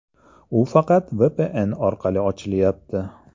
U faqat VPN orqali ochilyapti.